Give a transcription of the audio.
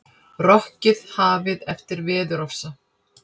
Rokkið hafið eftir veðurofsa